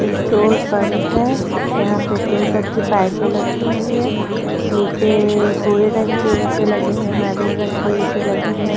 Petrol pump है यहाँ petrol pump की पाइप लगी हुई हैं नीचेएएए भूरे रंग के ईटे लगे हैं महरून रंग के ईटे लगे हैं।